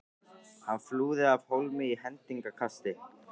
Hann flúði af hólmi í hendingskasti.